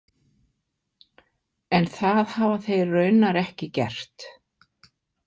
En það hafa þeir raunar ekki gert.